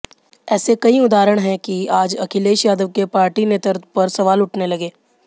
ऐसे कई उदाहरण हैं कि आज अखिलेश यादव के पार्टी नेतृत्व पर सवाल उठने लगे